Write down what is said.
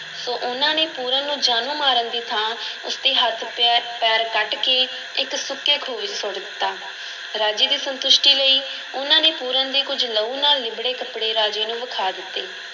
ਸੋ ਉਹਨਾਂ ਨੇ ਪੂਰਨ ਨੂੰ ਜਾਨੋਂ ਮਾਰਨ ਦੀ ਥਾਂ ਉਸ ਦੇ ਹੱਥ ਪੈ~ ਪੈਰ ਕੱਟ ਕੇ ਇੱਕ ਸੁੱਕੇ ਖੂਹ ਵਿੱਚ ਸੁੱਟ ਦਿੱਤਾ, ਰਾਜੇ ਦੀ ਸੰਤੁਸ਼ਟੀ ਲਈ ਉਹਨਾਂ ਨੇ ਪੂਰਨ ਦੇ ਕੁੱਝ ਲਹੂ ਨਾਲ ਲਿੱਬੜੇ ਕੱਪੜੇ ਰਾਜੇ ਨੂੰ ਵਿਖਾ ਦਿੱਤੇ।